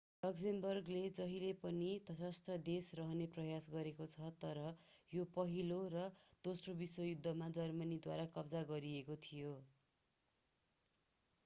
लक्जेमबर्गले जहिले पनि तटस्थ देश रहने प्रयास गरेको छ तर यो पहिलो र दोस्रो विश्वयुद्धमा जर्मनीद्वारा कब्जा गरिएको थियो